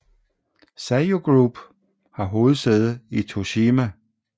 Seiyu Group har hovedsæde i Toshima